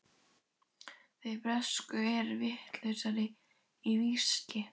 Þeir bresku eru vitlausir í viskí.